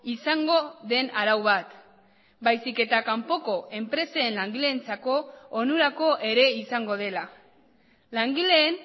izango den arau bat baizik eta kanpoko enpresen langileentzako onurako ere izango dela langileen